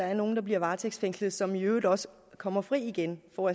er nogle der bliver varetægtsfængslet og som i øvrigt også kommer fri igen og